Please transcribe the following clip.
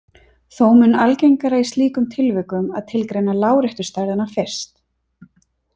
Þó mun algengara í slíkum tilvikum að tilgreina láréttu stærðina fyrst.